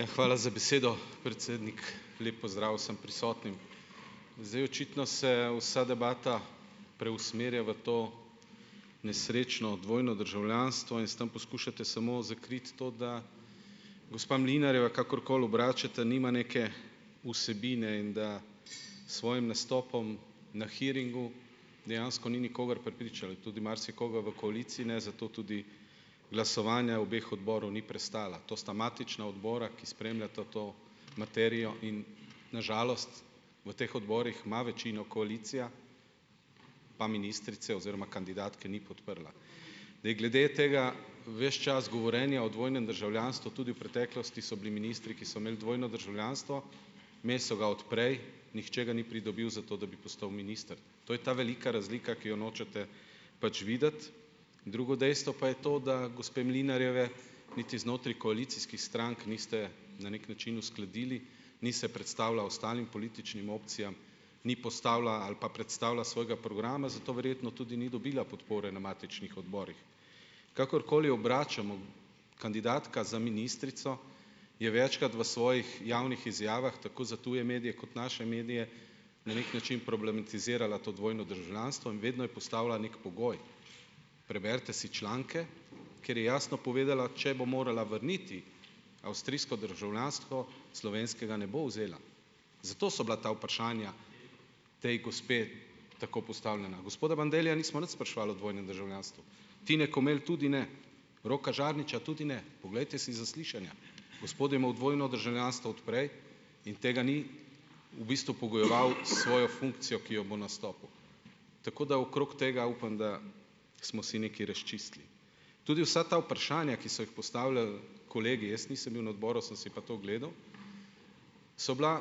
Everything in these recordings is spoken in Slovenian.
Ja, hvala za besedo, predsednik. Lep pozdrav vsem prisotnim. Zdaj, očitno se vsa debata preusmerja v to nesrečno dvojno državljanstvo in s tem poskušate samo zakriti to, da gospa Mlinarjeva, kakorkoli obračate, nima neke vsebine in da s svojim nastopom na hearingu dejansko ni nikogar prepričala. In tudi marsikoga v koaliciji ne, zato tudi glasovanja obeh odborov ni prestala. To sta matična odbora, ki spremljata to materijo in na žalost v teh odborih ima večino koalicija, pa ministrice oziroma kandidatke ni podprla. Da je glede tega ves čas govorjenja o dvojnem državljanstvu, tudi v preteklosti so bili ministri, ki so imeli dvojno državljanstvo, imeli so ga od prej, nihče ga ni pridobil zato, da bi postal minister. To je ta velika razlika, ki jo nočete pač videti. Drugo dejstvo pa je to, da gospe Mlinarjeve niti znotraj koalicijskih strank niste na neki način uskladili, ni se predstavila ostalim političnim opcijam, ni postavila ali pa predstavila svojega programa, zato verjetno tudi ni dobila podpore na matičnih odborih. Kakorkoli obračamo, kandidatka za ministrico je večkrat v svojih javnih izjavah tako za tuje medije kot naše medije na neki način problematizirala to dvojno državljanstvo in vedno je postavila neki pogoj. Preberite si članke, ker je jasno povedala, če bo morala vrniti avstrijsko državljanstvo, slovenskega ne bo vzela. Zato so bila ta vprašanja, potem gospe tako postavljena. Gospoda Bandellija nismo nič spraševali o dvojnem državljanstvu. Tine Komelj tudi ne, Roka Žarniča tudi ne, poglejte si zaslišanja. Gospod je imel dvojno državljanstvo od prej in tega ni v bistvu pogojeval s svojo funkcijo , ki jo bo nastopil. Tako da okrog tega upam, da smo si nekaj razčistili. Tudi vsa ta vprašanja, ki so jih postavljali kolegi, jaz nisem bil na odboru, sem si pa to ogledal, so bila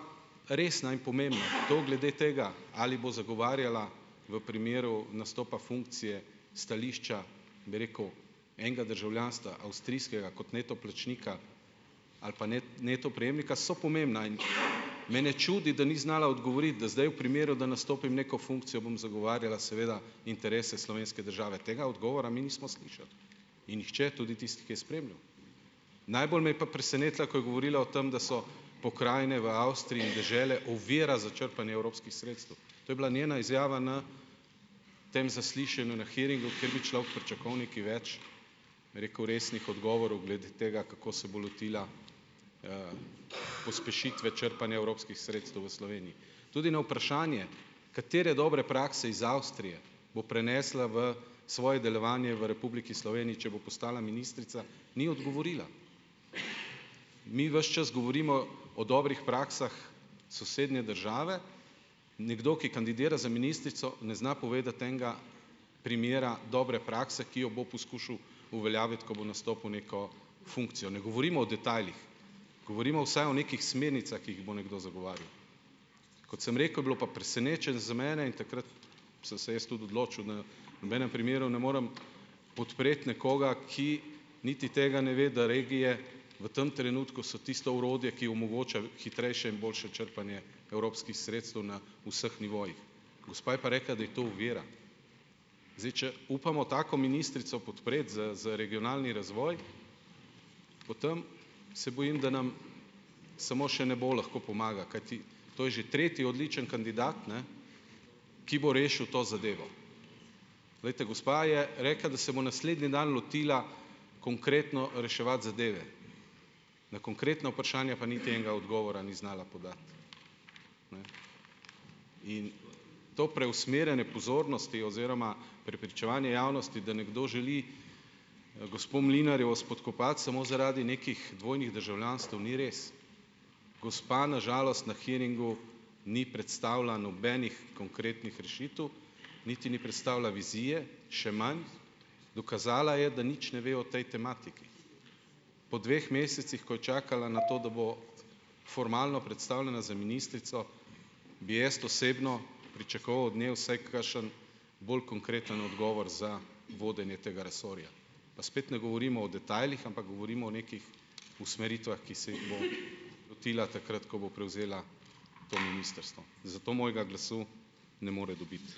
resna in pomembna. To glede tega, ali bo zagovarjala v primeru nastopa funkcije stališča, bi rekel enega državljanstva avstrijskega, kot neto plačnika, ali pa neto prejemnika, so pomembna in me ne čudi, da ni znala odgovoriti, da zdaj v primeru, da nastopim neko funkcijo, bom zagovarjala seveda interese slovenske države. Tega odgovora mi nismo slišali. In nihče, tudi tisti, ki je spremljal. Najbolj me je pa presenetila, ko je govorila o tem, da so pokrajine v Avstriji in dežele ovira za črpanje evropskih sredstev. To je bila njena izjava na tem zaslišanju, na hearingu, kjer bi človek pričakoval nekaj več, bi rekel, resnih odgovorov, glede tega, kako se bo lotila, pospešitve črpanja evropskih sredstev v Sloveniji. Tudi na vprašanje, katere dobre prakse iz Avstrije bo prenesla v svoje delovanje v Republiki Sloveniji, če bo postala ministrica, ni odgovorila. Mi ves čas govorimo o dobrih praksah sosednje države, nekdo, ki kandidira za ministrico, ne zna povedati enega primera dobre prakse, ki jo bo poskušal uveljaviti, ko bo nastopil neko funkcijo. Ne govorimo o detajlih. Govorimo vsaj o nekih smernicah, ki jih bo nekdo zagovarjal. Kot sem rekel, je bilo pa za mene in takrat sem se jaz tudi odločil, da v nobenem primeru ne morem podpreti nekoga, ki niti tega ne ve, da regije v tem trenutku so tisto orodje, ki omogoča hitrejše in boljše črpanje evropskih sredstev na vseh nivojih. Gospa je pa rekla, da je to ovira. Zdaj, če upamo tako ministrico podpreti za za regionalni razvoj, potem se bojim, da nam samo še nebo lahko pomaga, kajti to je že tretji odličen kandidat, ne, ki bo rešil to zadevo. Glejte, gospa je rekla, da se bo naslednji dan lotila konkretno reševati zadeve. Na konkretno vprašanje pa niti enega odgovora ni znala podati. In to preusmerjanje pozornosti oziroma prepričevanje javnosti, da nekdo želi gospo Mlinarjevo spodkopati samo zaradi nekih dvojnih državljanstev, ni res. Gospa na žalost na hearingu ni predstavila nobenih konkretnih rešitev, niti ni predstavila vizije, še manj, dokazala je, da nič ne ve o tej tematiki. Po dveh mesecih, ko je čakala na to, da bo formalno predstavljena za ministrico, bi jaz osebno pričakoval od nje vsaj kakšen bolj konkreten odgovor za vodenje tega resorja. Pa spet ne govorimo o detajlih, ampak govorimo o nekih usmeritvah, ki se jih bo lotila takrat, ko bo prevzela to ministrstvo. Zato mojega glasu ne more dobiti.